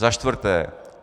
Za čtvrté.